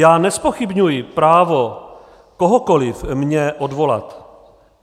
Já nezpochybňuji právo kohokoli mě odvolat.